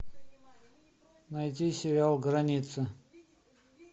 найди сериал граница